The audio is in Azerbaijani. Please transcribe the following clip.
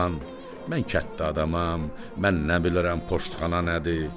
Ay xan, mən kənddə adamam, mən nə bilirəm poştxana nədir?